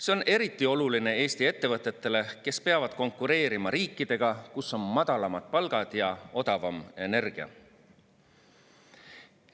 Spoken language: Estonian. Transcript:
See on eriti oluline Eesti ettevõtetele, kes peavad konkureerima riikidega, kus on madalamad palgad ja odavam energia.